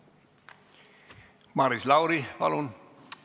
Maris Lauri, palun!